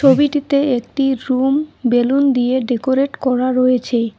ছবিটিতে একটি room balloon দিয়ে ডেকোরেট করা রয়েছে।